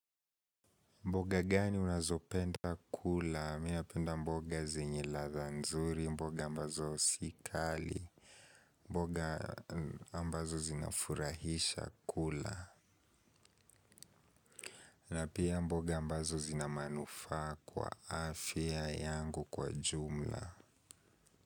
Mboga gani unazopenda kula, mimi napenda mboga zenye ladha nzuri, mboga ambazo si kali, mboga ambazo zinafurahisha kula, na pia mboga ambazo zina manufaa kwa afya yangu kwa jumla.